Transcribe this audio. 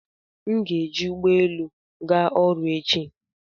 M ga-eji ụgbọelu ga ọrụ echi